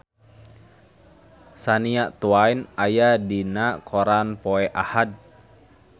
Shania Twain aya dina koran poe Ahad